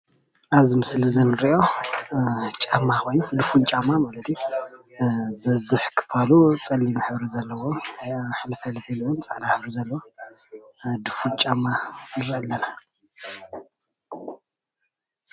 ኣብዚ ምስሊ እዚ እንሪኦ ጫማ ኾይኑ ዱፉን ጫማ ማለት እዩ። ዝበዝሕ ኽፋሉ ፀሊም ሕብሪ ዘለዎ ሕልፍሕልፍ ኢሉውን ፃዕዳ ሕብሪ ዘለዎ ዱፉን ጫማ ንርኢ ኣለና።